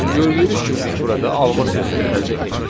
Gördüyünüz kimi biz burada alma sözünü əldə etdik.